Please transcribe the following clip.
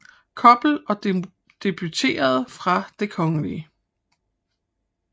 Koppel og debuterede fra Det Kgl